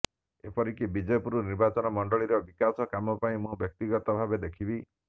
ଏପରିକି ବିଜେପୁର ନିର୍ବାଚନ ମଣ୍ଡଳୀର ବିକାଶ କାମ ମୁଁ ବ୍ୟକ୍ତିଗତ ଭାବରେ ଦେଖିବି